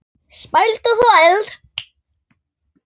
Spæld og þvæld.